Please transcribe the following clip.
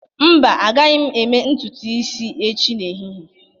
Mba, agaghị m eme ntutu isi echi n'ehihie